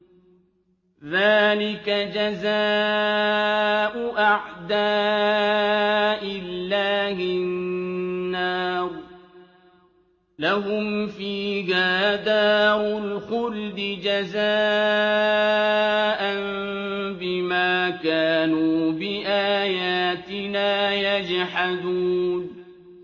ذَٰلِكَ جَزَاءُ أَعْدَاءِ اللَّهِ النَّارُ ۖ لَهُمْ فِيهَا دَارُ الْخُلْدِ ۖ جَزَاءً بِمَا كَانُوا بِآيَاتِنَا يَجْحَدُونَ